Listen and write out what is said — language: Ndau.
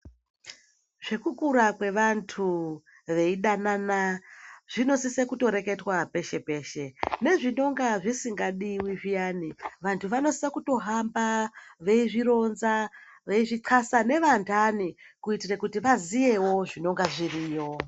Zvekukura kwevantu veidanana zvinosise kutoreketwa peshe-peshe. Nezvinonga zvisingadiwi zviyani, vantu vanosisa kutohamba veizvironza, veizvixasa nevantani kuitire kuti vaziyewo zvinonga zviriyo.